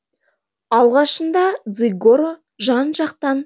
алғашында дзигоро жан жақтан